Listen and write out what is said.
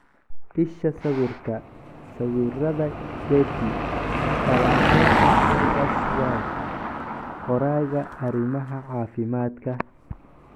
Isha sawirka, Sawirada Getty Falanqaynta Fergus Walsh - Qoraaga arimaha caafimaadka.